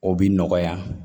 O bi nɔgɔya